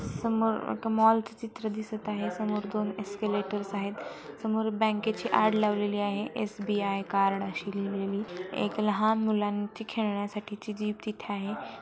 समोर एक मॉलच चित्र दिसतं आहे समोर दोन एसक्यूलेटर्स आहेत समोर बँकेची ऍड लावलेली आहे एस_बी_आय कार्ड अशी लिहलेली एक लहान मुलांची खेळण्यासाठी जी जीब तिथे आहे.